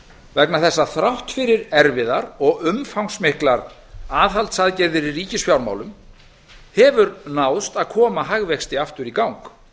vegna þess að þrátt fyrir erfiðar og umfangsmiklar aðhaldsaðgerðir í ríkisfjármálum hefur náðst að koma hagvexti aftur í gang